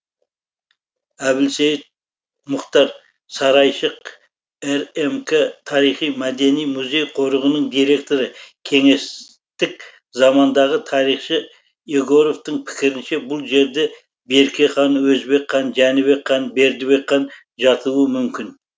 әбілсейіт мұхтар сарайшық рмк тарихи мәдени музей қорығының директоры кеңестік замандағы тарихшы егоровтың пікірінше бұл жерде берке хан өзбек хан жәнібек хан бердібек хан жатуы мүмкін